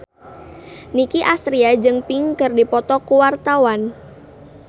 Nicky Astria jeung Pink keur dipoto ku wartawan